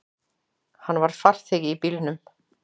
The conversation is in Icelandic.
Hann var farþegi í bílnum.